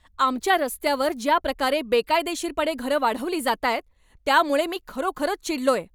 आमच्या रस्त्यावर ज्या प्रकारे बेकायदेशीरपणे घरं वाढवली जातायत त्यामुळे मी खरोखरच चिडलोय.